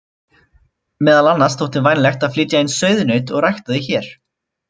Meðal annars þótti vænlegt að flytja inn sauðnaut og rækta þau hér.